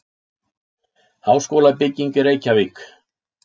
Háskólabygging í Reykjavík.